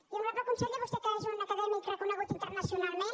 i honorable conseller vostè que és un acadèmic reconegut internacionalment